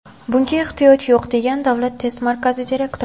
Bunga ehtiyoj yo‘q, degan Davlat test markazi direktori.